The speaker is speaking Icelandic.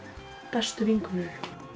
bestu vinkonur